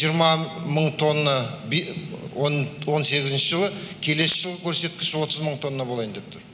жиырма мың тонна он сегізінші жылы келесі жылғы көрсеткіш отыз мың тонна болайын деп тұр